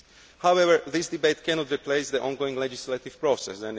However, this debate cannot replace the ongoing legislative process.